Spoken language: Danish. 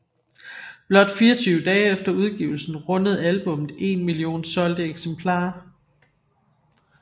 Blot 24 dage efter udgivelsen rundede albummet én million solgte eksemplarer